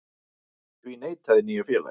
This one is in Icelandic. Því neitaði nýja félagið